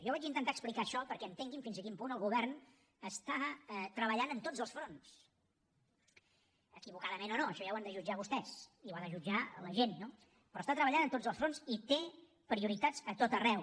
jo vaig intentar explicar això perquè entenguin fins a quin punt el govern està treballant en tots els fronts equivocadament o no això ja ho han de jutjar vostès i ho ha de jutjar la gent no però està treballant en tots els fronts i té prioritats a tot arreu